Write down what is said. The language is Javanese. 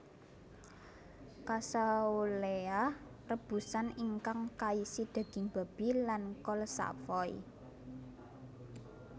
Cassouela rebusan ingkang kaisi daging babi lan kol savoy